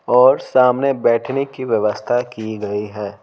और सामने बैठने की व्यवस्था की गई है।